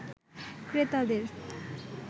ক্রেতাদের